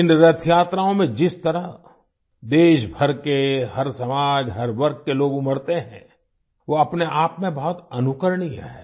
इन रथयात्राओं में जिस तरह देश भर के हर समाज हर वर्ग के लोग उमड़ते हैं वो अपने आपमें बहुत अनुकरणीय है